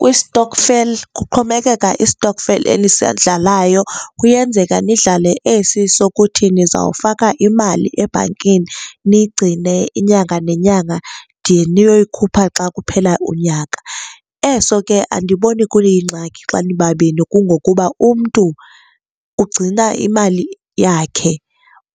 Kwi-stokvel kuxhomekeka i-stokvel enisidlalayo. Kuyenzeka nidlale esi sokuthi nizawufaka imali ebhankini, niyigcine inyanga nenyanga de niyoyikhupha xa kuphela unyaka. Eso ke andiboni kuyingxaki xa nibabini kungokuba umntu ugcina imali yakhe,